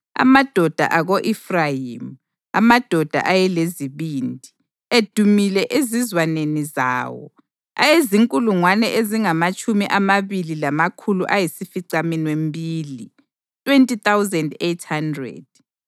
amadoda ako-Efrayimi, amadoda ayelezibindi, edumile ezizwaneni zawo, ayezinkulungwane ezingamatshumi amabili lamakhulu ayisificaminwembili (20,800),